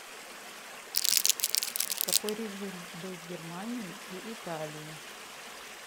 какой режим был в германии и италии